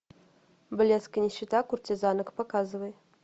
блеск и нищета куртизанок показывай